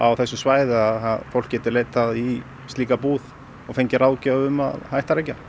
þessu svæði að fólk geti leitað í slíka búð og fengið ráðgjöf um að hætta að reykja